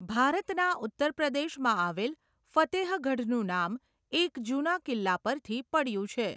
ભારતના ઉત્તરપ્રદેશમાં આવેલ ફતેહગઢનું નામ એક જૂના કિલ્લા પરથી પડ્યું છે.